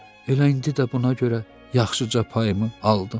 Elə indi də buna görə yaxşıca payımı aldım.